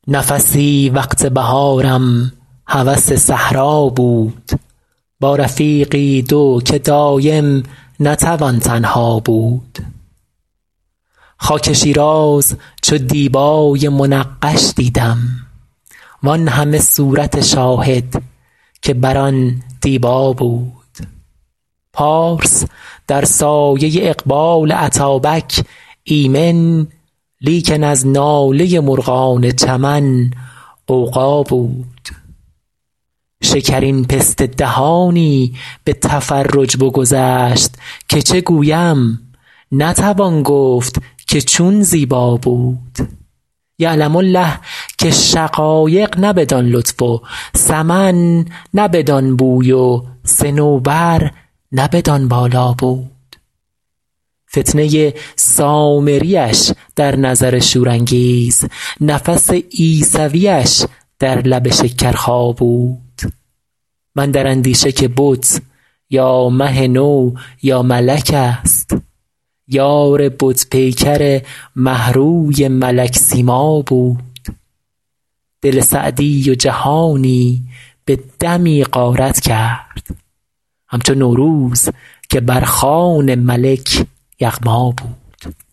نفسی وقت بهارم هوس صحرا بود با رفیقی دو که دایم نتوان تنها بود خاک شیراز چو دیبای منقش دیدم وان همه صورت شاهد که بر آن دیبا بود پارس در سایه اقبال اتابک ایمن لیکن از ناله مرغان چمن غوغا بود شکرین پسته دهانی به تفرج بگذشت که چه گویم نتوان گفت که چون زیبا بود یعلم الله که شقایق نه بدان لطف و سمن نه بدان بوی و صنوبر نه بدان بالا بود فتنه سامریش در نظر شورانگیز نفس عیسویش در لب شکرخا بود من در اندیشه که بت یا مه نو یا ملک ست یار بت پیکر مه روی ملک سیما بود دل سعدی و جهانی به دمی غارت کرد همچو نوروز که بر خوان ملک یغما بود